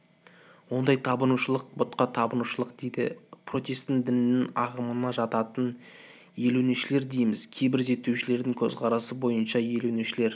ондай табынушылық пұтқа табынушылық дейді протестан дінінің ағымына жататын елуіншілер дейміз кейбір зерттеушілердің көзқарасы бойынша елуіншілер